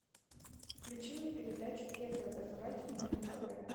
включи мне передачу первый образовательный на тв